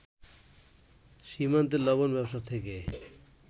সীমান্তে লবন ব্যবসা থেকে